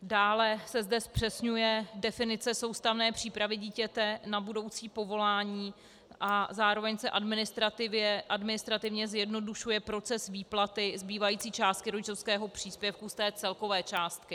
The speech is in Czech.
Dále se zde zpřesňuje definice soustavné přípravy dítěte na budoucí povolání a zároveň se administrativně zjednodušuje proces výplaty zbývající částky rodičovského příspěvku z té celkové částky.